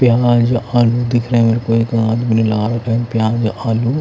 प्याज आलू दिख रहे हैं मेरे को एक आदमी लाल रंग प्याज आलू--